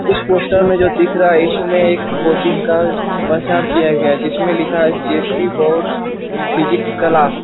इस पोस्टर में जो दिख रहा है इसमे एक कोचिंग का प्रचार किया गया है जिसमे लिखा है जे.सी. Bose physics class.